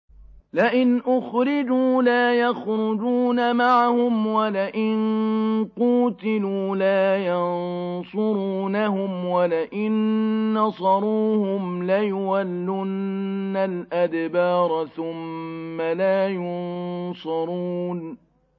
لَئِنْ أُخْرِجُوا لَا يَخْرُجُونَ مَعَهُمْ وَلَئِن قُوتِلُوا لَا يَنصُرُونَهُمْ وَلَئِن نَّصَرُوهُمْ لَيُوَلُّنَّ الْأَدْبَارَ ثُمَّ لَا يُنصَرُونَ